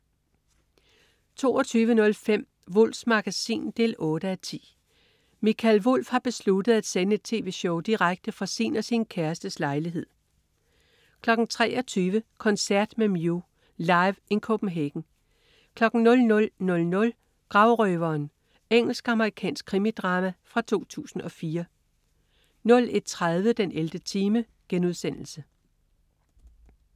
22.05 Wulffs Magasin 8:10. Mikael Wulff har besluttet at sende et tv-show direkte fra sin og sin kærestes lejlighed 23.00 Koncert med Mew. Live In Copenhagen 00.00 Gravrøveren. Engelsk-amerikansk krimidrama fra 2004 01.30 den 11. time*